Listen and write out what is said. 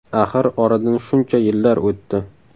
Axir oradan shuncha yillar o‘tdi.